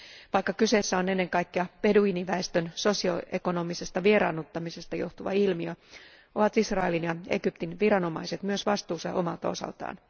Vaikka kyseessä on ennen kaikkea beduiiniväestön sosio ekonomisesta vieraannuttamisesta johtuva ilmiö, ovat Israelin ja Egyptin viranomaiset myös vastuussa omalta osaltaan.